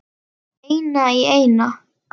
Eina í eina.